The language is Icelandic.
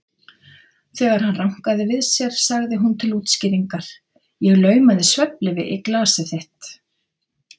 Þegar hann rankaði við sér sagði hún til útskýringar: Ég laumaði svefnlyfi í glasið þitt.